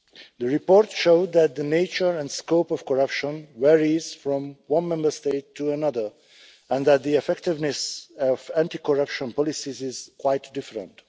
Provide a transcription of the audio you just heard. The report showed that the nature and scope of corruption varies from one Member State to another and that the effectiveness of anti corruption policies is quite different.